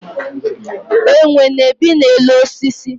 Enwe na-ebi n'elu osisi